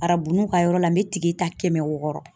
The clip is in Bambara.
Arabunuw ka yɔrɔ la n bɛ ta kɛmɛ wɔɔrɔ.